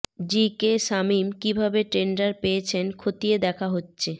জি K Shamim কিভাবে tender পেয়েছেন খতিয়ে দেখা হচ্ছে